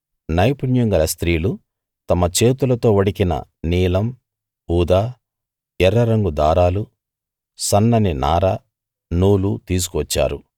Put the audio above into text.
నైపుణ్యం గల స్త్రీలు తమ చేతులతో వడికిన నీలం ఊదా ఎర్ర రంగు దారాలు సన్నని నార నూలు తీసుకు వచ్చారు